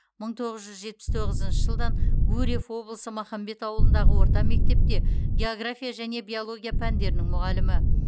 мың тоғыз жүз жетпіс тоғызыншы жылдан гурьев облысы махамбет ауылындағы орта мектепте география және биология пәндерінің мұғалімі